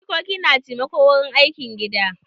Jikoki na taimako wurin aikin gida.